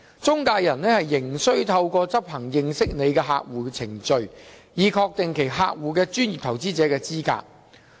中介人仍須透過執行"認識你的客戶"程序，以確定其客戶的專業投資者資格。